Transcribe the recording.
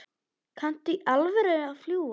Kanntu í alvöru að fljúga?